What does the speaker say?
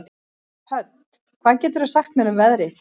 Hödd, hvað geturðu sagt mér um veðrið?